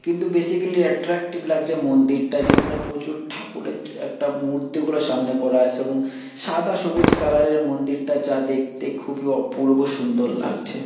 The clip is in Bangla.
কিন্তু বেসিক্যালি এট্রাক্টিভ লাগছে মন্দিরটা। যেখানে প্রচুর ঠাকুরের একটা মূর্তি গুলো সামনে করা আছে এবং সাদা সবুজ কালারের মন্দিরটা। যা দেখতে খুবই অপূর্ব সুন্দর লাগছে।